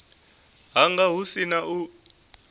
hanga hu si na u